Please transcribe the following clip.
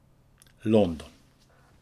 London.